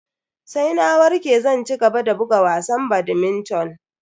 Sai na warke zan cigaba da buga wasan badminton.